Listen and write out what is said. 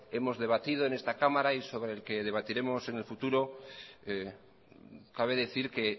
hemos debatido en esta cámara y sobre el que debatiremos en el futuro cabe decir que